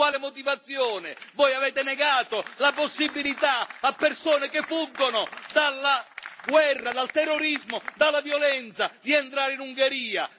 Con quale motivazione voi avete negato la possibilità a persone che fuggono dalla guerra, dal terrorismo e dalla violenza di entrare in Ungheria?